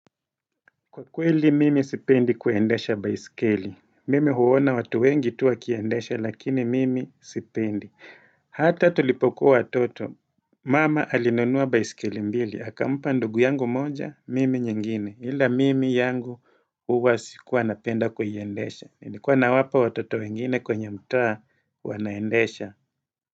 Kweli mimi sipendi kuiendesha baiskeli. Mimi huona watu wengi tu wakiendesha lakini mimi sipendi. Hata tulipokuwa watoto. Mama alinunua baiskeli mbili. Akampa ndugu yangu moja, mimi nyingine. Ila mimi yangu huwa sikuwa napenda kuiendesha. Nilikuwa nawapa watoto wengine kwenye mtaa wanaendesha.